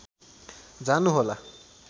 जानु होला